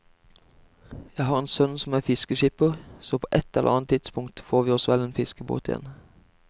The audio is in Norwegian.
Jeg har en sønn som er fiskeskipper, så på et eller annet tidspunkt får vi oss vel en fiskebåt igjen.